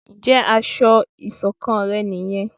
Njé aṣọ iṣọ̀kan rẹ ní yén?